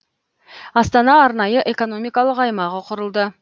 астана арнайы экономикалық аймағы құрылды